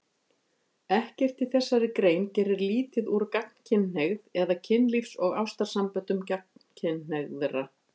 Ekkert í þessari grein gerir lítið úr gagnkynhneigð eða kynlífs- og ástarsamböndum gagnkynhneigðra.